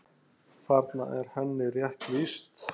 Þarna er henni rétt lýst.